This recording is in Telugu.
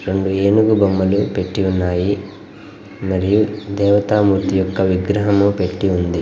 రెండు ఏనుగు బొమ్మలు పెట్టి ఉన్నాయి. మరియు దేవతామూర్తి యొక్క విగ్రహము పెట్టి ఉంది.